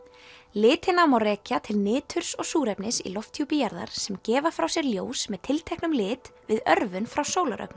litina má rekja til niturs og súrefnis í lofthjúpi jarðar sem gefa frá sér ljós með tilteknum lit við örvun frá